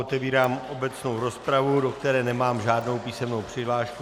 Otevírám obecnou rozpravu, do které nemám žádnou písemnou přihlášku.